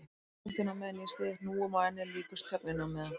Andaktin á meðan ég styð hnúum á ennið líkust þögninni á meðan